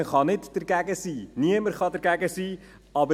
Man kann nicht dagegen sein, niemand kann dagegen sein.